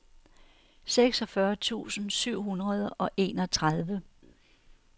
seksogfyrre tusind syv hundrede og enogtredive